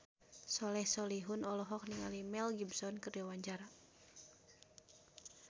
Soleh Solihun olohok ningali Mel Gibson keur diwawancara